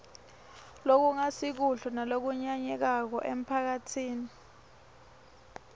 lokungasikuhle nalokunyanyekako emphakatsini